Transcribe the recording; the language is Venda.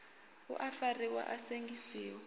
u a fariwa a sengisiwa